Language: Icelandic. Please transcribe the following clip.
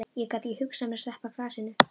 Ég gat ekki hugsað mér að sleppa glasinu.